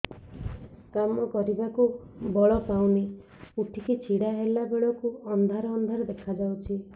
କାମ କରିବାକୁ ବଳ ପାଉନି ଉଠିକି ଛିଡା ହେଲା ବେଳକୁ ଅନ୍ଧାର ଅନ୍ଧାର ଦେଖା ଯାଉଛି